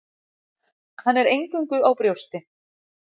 Hann er eingöngu á brjósti.